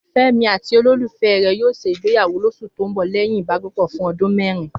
Fẹ́mi àti olólùfẹ́ rẹ̀ yóò ṣègbéyàwó lóṣù tó ń bọ̀ lẹ́yìn ìbákẹ́gbẹ́pọ̀ fún ọdún mẹ́rin